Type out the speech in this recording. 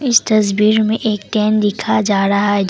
इस तस्वीर में एक दिखा जा रहा है।